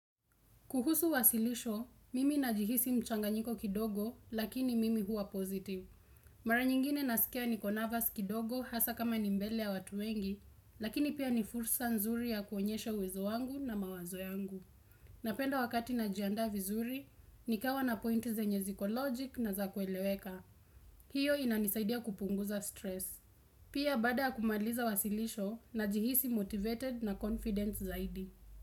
Kuhusu wasilisho, mimi najihisi mchanganyiko kidogo, lakini mimi huwa positive. Mara nyingine nasikia niko nervous kidogo hasa kama ni mbele ya watu wengi, lakini pia ni fursa nzuri ya kuonyeshe uwezo wangu na mawazo yangu. Napenda wakati najiandaa vizuri, nikawa na pointi zenye ziko logic na za kueleweka. Hiyo inanisaidia kupunguza stress. Pia baada ya kumaliza wasilisho, najihisi motivated na confident zaidi.